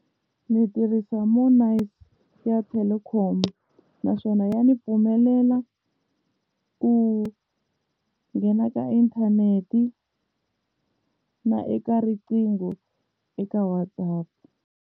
Ndzi tirhisa network ya Telkom naswona ya ni pfumelela ku nghena ka inthanete na eka riqingho eka WhatsApp.